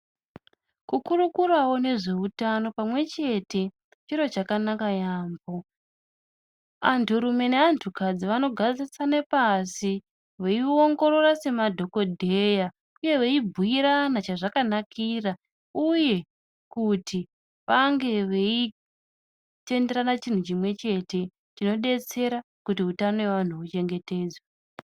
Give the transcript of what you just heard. Kukurukurawo nezveutano pamwechete chiro chakanaka yambo, anturume neantukadzi vanogarisane pashi veiongorora semadhokodheya uye veibhuirane chazvakanakira uye kuti vange veitenderane chinhu chimwechete chinodetsera kuti utano hwevantu huchengetedzwe.